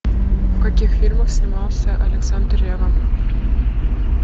в каких фильмах снимался александр ревва